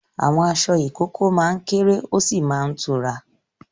Àwọn aṣọ ìkókó máa ń kéré ó sì máa tura.